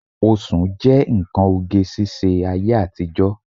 Oṣùn jẹ́ nǹkan oge ṣíṣe ayé àtijọ́